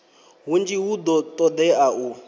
hunzhi hu do todea u